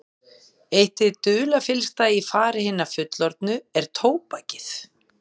Eitt hið dularfyllsta í fari hinna fullorðnu er tóbakið.